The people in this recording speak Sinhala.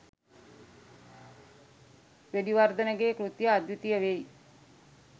වෙඩිවර්ධන ගේ කෘතිය අද්විතීය වෙයි